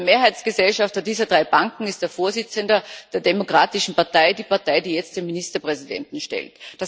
Der Mehrheitsgesellschafter dieser drei Banken ist der Vorsitzende der Demokratischen Partei, der Partei, die jetzt den Ministerpräsidenten stellt.